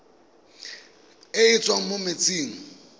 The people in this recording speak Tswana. e e tswang mo metsing